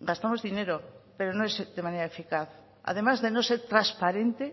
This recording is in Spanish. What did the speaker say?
gastamos dinero pero no es de manera eficaz además de no ser transparente